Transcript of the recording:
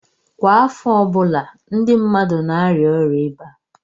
Kwa afo ọbụla ndi mmadu na-aria oria iba